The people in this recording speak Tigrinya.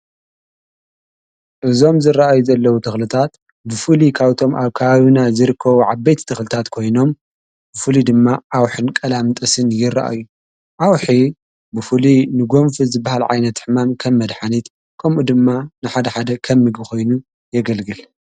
ዕዞም ዝረአዩ ዘለዉ ተኽልታት ብፉሊ ካውቶም ኣር ካዩና ዝርኮ ዓበይት ተኽልታት ኮይኖም ብፉሉ ድማ ዓውሕን ቀላም ጥስን ይረአዩ ዓውኂ ብፉሊ ንጐምፊ ዝበሃልዓይነት ሕማም ከም መድኃኒት ከምኡ ድማ ንሓድሓደ ኸምሚብኾይኑ የገልግል።